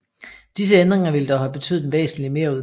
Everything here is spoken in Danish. Disse ændringer ville dog have betydet en væsentlig merudgift